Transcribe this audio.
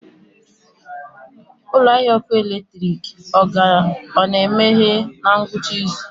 Ụlọ ahịa ọkụ eletrik ọ na-emeghe na ngwụcha izu?